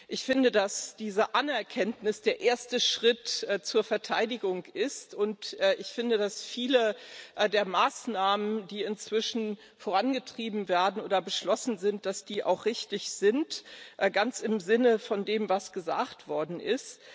Ich finde, dass diese Anerkenntnis der erste Schritt zur Verteidigung ist, und ich finde, dass viele der Maßnahmen, die inzwischen vorangetrieben werden oder beschlossen sind, auch richtig sind ganz im Sinne von dem, was gesagt worden ist.